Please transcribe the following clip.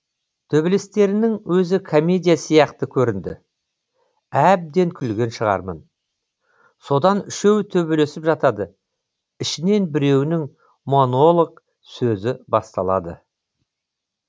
төбелестерінің өзі комедия сияқты көрінді әбден күлген шығармын содан үшеуі төбелесіп жатады ішінен біреуінің монолог сөзі басталады